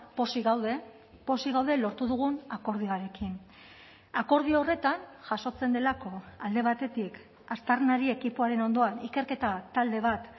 pozik gaude pozik gaude lortu dugun akordioarekin akordio horretan jasotzen delako alde batetik aztarnari ekipoaren ondoan ikerketa talde bat